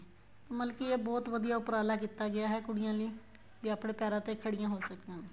ਮਤਲਬ ਕੀ ਇਹ ਬਹੁਤ ਵਧੀਆ ਉੱਪਰਾਲਾ ਕੀਤਾ ਗਿਆ ਹੈ ਕੁੜੀਆ ਲਈ ਵੀ ਆਪਣੇ ਪੈਰਾ ਤੇ ਖੜੀਆਂ ਹੋ ਸਕਣ